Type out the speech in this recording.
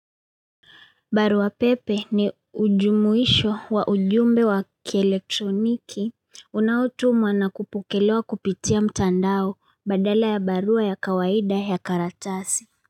Barua pepe ni ujumuisho wa ujumbe wa kielektroniki unautumwa nakupokelewa kupitia mtandao badala ya barua ya kawaida ya karatasi.